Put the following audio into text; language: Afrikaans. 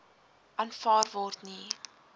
aanvaar word nie